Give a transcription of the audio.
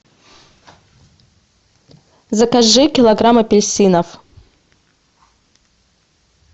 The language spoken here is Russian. закажи килограмм апельсинов